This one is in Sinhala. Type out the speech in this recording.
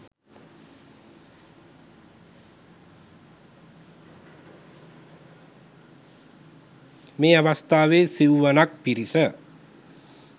මේ අවස්ථාවේ සිවුවනක් පිරිස